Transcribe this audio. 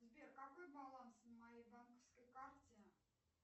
сбер какой баланс на моей банковской карте